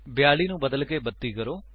42 ਨੂੰ ਬਦਲਕੇ 32 ਕਰੋ